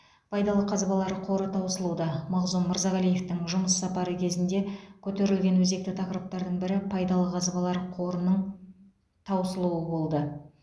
пайдалы қазбалар қоры таусылуда мағзұм мырзағалиевтың жұмыс сапары кезінде көтерілген өзекті тақырыптардың бірі пайдалы қазбалар қорының таусылуы болды